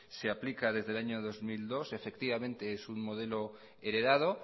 se aplica desde el año dos mil dos es un modelo heredado